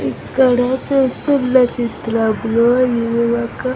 ఇక్కడ చూస్తున్న చిత్రంలో ఇది ఒక--